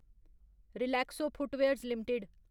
Relaxo footwears limited